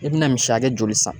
I bina misi hakɛ joli san?